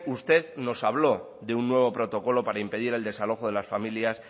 usted nos habló de un nuevo protocolo para impedir el desalojo de las familias